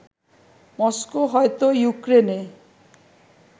Moscow হয়তো ইউক্রেনে